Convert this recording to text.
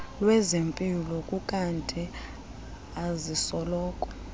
lwezempilo ukanti azisoloko